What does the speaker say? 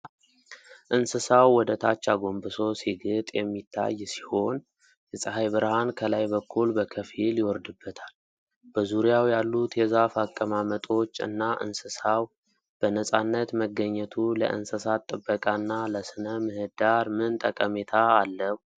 እንስሳው ወደታች አጎንብሶ ሲግጥ የሚታይ ሲሆን፤ የፀሐይ ብርሃን ከላይ በኩል በከፊል ይወርድበታል። በዙሪያው ያሉት የዛፍ አቀማመጦች እና እንስሳው በነጻነት መገኘቱ ለእንስሳት ጥበቃና ለስነ-ምህዳር ምን ጠቀሜታ አለው?